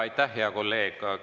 Aitäh, hea kolleeg!